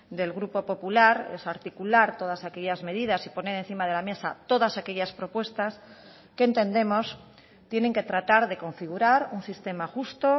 del grupo popular es articular todas aquellas medidas y poner encima de la mesa todas aquellas propuestas que entendemos tienen que tratar de configurar un sistema justo